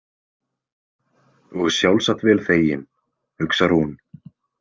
Og sjálfsagt vel þeginn, hugsar hún.